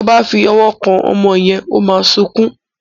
Tí o bá fí òwò kán ọmọ yén o má sọkún.